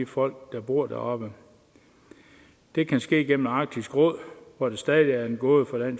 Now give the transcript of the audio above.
folk der bor deroppe det kan ske gennem arktisk råd hvor det stadig er en gåde for